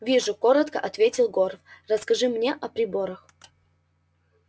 вижу коротко ответил горов расскажи мне о приборах